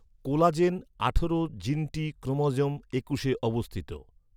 Collagen আঠারো জিনটি chromosome একুশে অবস্থিত।